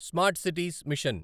smart cities machine